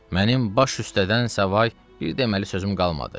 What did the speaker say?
Mənim baş üstədən savayı bir deməli sözüm qalmadı.